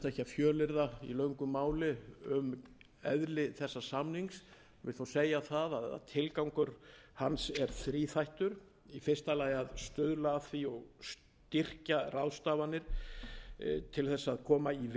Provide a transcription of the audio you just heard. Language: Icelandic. fjölyrða í löngu máli um eðli þessa samnings vil þó segja það að tilgangur hans er þríþættur í fyrsta lagi að stuðla að því og styrkja ráðstafanir til þess að koma í veg